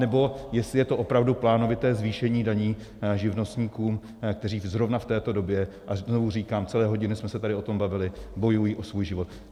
Anebo jestli je to opravdu plánovité zvýšení daní živnostníkům, kteří zrovna v této době - a znovu říkám, celé hodiny jsme se tady o tom bavili - bojují o svůj život.